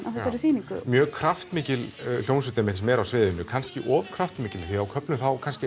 á þessari sýningu mjög kraftmikil hljómsveit einmitt sem er á sviðinu kannski of kraftmikil því á köflum